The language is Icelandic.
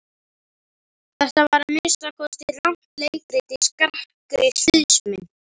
Þetta var að minnsta kosti rangt leikrit í skakkri sviðsmynd.